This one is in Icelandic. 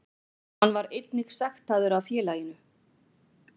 Hann var einnig sektaður af félaginu